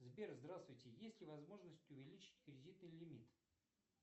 сбер здравствуйте есть ли возможность увеличить кредитный лимит